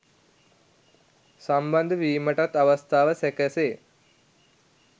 සම්බන්ධ වීමටත් අවස්ථාව සැකසේ